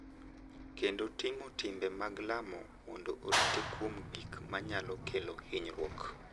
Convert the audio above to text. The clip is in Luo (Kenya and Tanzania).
kendo timo timbe mag lamo mondo orite kuom gik ma nyalo kelo hinyruok.